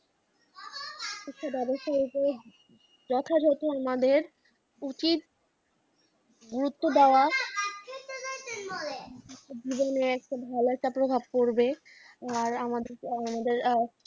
আচ্ছা হয়ত যথাযথ আমাদের উচিত গুরুত্ব দেওয়া দুজনেই এখন ভালো একটা প্রভাব পড়বে। আর আমাদের আহ